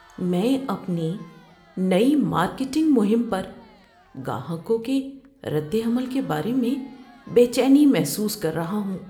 میں اپنی نئی مارکیٹنگ مہم پر گاہکوں کے رد عمل کے بارے میں بے چینی محسوس کر رہا ہوں۔